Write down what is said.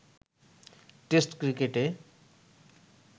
test ক্রিকেটে